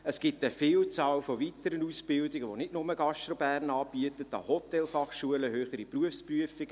Es gibt eine Vielzahl von weiteren Ausbildungen, die nicht nur GastroBern anbietet: Hotelfachschulen, höhere Berufsprüfungen.